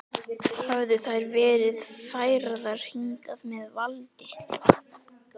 Höfðu þær verið færðar hingað með valdi?